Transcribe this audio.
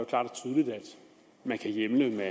man kan hjemle ved